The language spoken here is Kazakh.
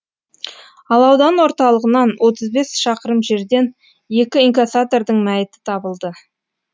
ал аудан орталығынан отыз бес шақырым жерден екі инкассатордың мәйіті табылды